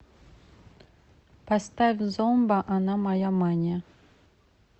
поставь зомба она моя мания